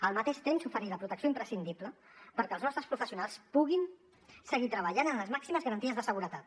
al mateix temps oferir la protecció imprescindible perquè els nostres professionals puguin seguir treballant amb les màximes garanties de seguretat